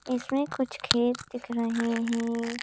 इसमें कुछ खेत दिख रहे हैं।